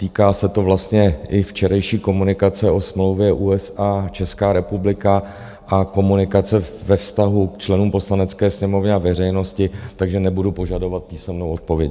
Týká se to vlastně i včerejší komunikace o smlouvě USA - Česká republika a komunikace ve vztahu k členům Poslanecké sněmovny a veřejnosti, takže nebudu požadovat písemnou odpověď.